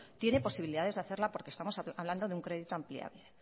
tiene posibilidades de hacerlo porque estamos hablando de un crédito ampliable